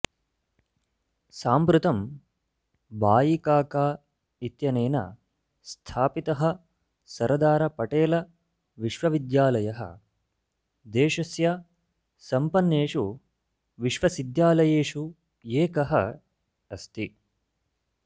साम्प्रतं भाईकाका इत्यनेन स्थापितः सरदार पटेल विश्वविद्यालयः देशस्य सम्पन्नेषु विश्वसिद्यालयेषु एकः अस्ति